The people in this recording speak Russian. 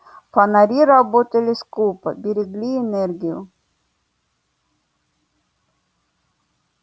фонари работали скупо берегли энергию